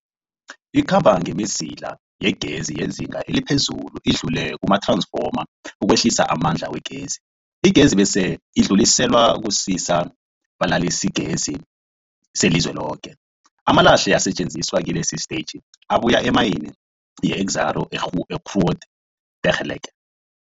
Ikhamba ngemizila yegezi yezinga eliphezulu idlule kumath-ransfoma ukwehlisa amandla wegezi. Igezi bese idluliselwa kusisa-balalisigezi selizweloke. Amalahle asetjenziswa kilesi sitetjhi abuya emayini yeExxaro's Grootegeluk.